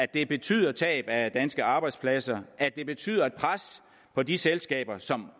det betyder tab af danske arbejdspladser at det betyder et pres på de selskaber som